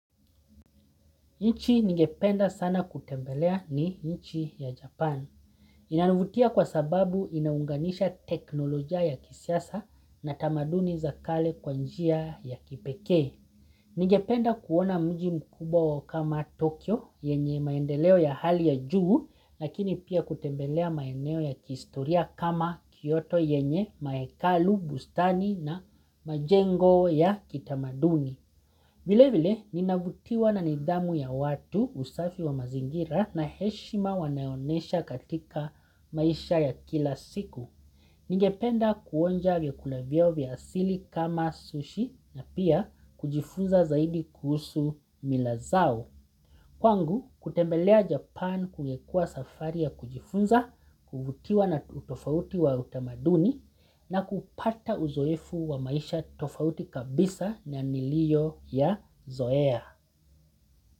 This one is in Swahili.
Nchi ningependa sana kutembelea ni nchi ya Japan. Inanivutia kwa sababu inaunganisha teknoloja ya kisasa na tamaduni za kale kwa njia ya kipeke. Ningependa kuona mji mkubwa wao kama Tokyo yenye maendeleo ya hali ya juu, lakini pia kutembelea maendeleo ya kistoria kama Kyoto yenye maekalu, bustani na majengo ya kitamaduni. Vile vile, ninavutiwa na nidhamu ya watu usafi wa mazingira na heshima wanayonesha katika maisha ya kila siku. Ningependa kuonja vyakula vyao vya asili kama sushi na pia kujifunza zaidi kuhusu mila zao. Kwangu, kutembelea Japan kungekua safari ya kujifunza, kuvutiwa na utofauti wa utamaduni na kupata uzoefu wa maisha tofauti kabisa na nilio yazoea.